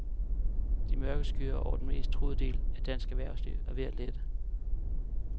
De mørke skyer over den mest truede del af dansk erhvervsliv er ved at lette.